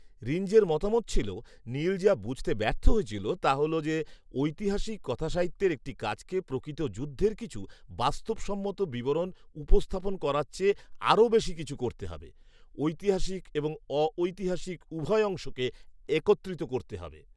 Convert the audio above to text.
রিঞ্জের মতামত ছিল, "নিল যা বুঝতে ব্যর্থ হয়েছিল, তা হল যে, ঐতিহাসিক কথাসাহিত্যের একটি কাজকে প্রকৃত যুদ্ধের কিছু বাস্তবসম্মত বিবরণ উপস্থাপন করার চেয়ে আরও বেশি কিছু করতে হবে। ঐতিহাসিক এবং অঐতিহাসিক উভয় অংশকে একত্রিত করতে হবে।